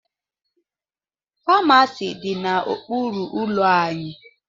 Famasi dị n'okpuru ụlọ anyị